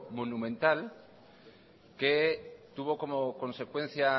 monumental que tuvo como consecuencia